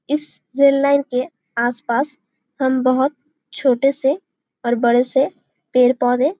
इस rail line के आसपास हम बहुत छोटे से और बड़े से पेड़-पौधे--